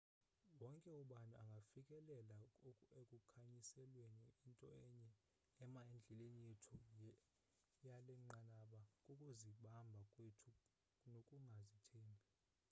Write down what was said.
wonke ubani angafikelela ekukhanyiselweni into enye ema endleleni yethu yalenqanaba kukuzibamba kwethu nokungazithembi